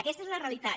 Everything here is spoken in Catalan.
aquesta és la realitat